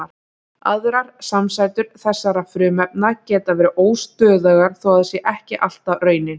Aðrar samsætur þessara frumefna geta verið óstöðugar þó það sé ekki alltaf raunin.